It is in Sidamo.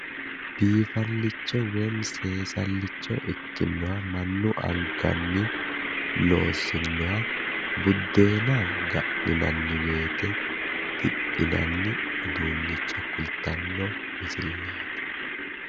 Biifallicha woyi seesallicho ikkinnoha mannu anganni loossinnoha buddeena ga'ninanni woyite diphinanni uduunnicho kultanno misileeti.